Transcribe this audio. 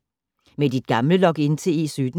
Med dit gamle login til E17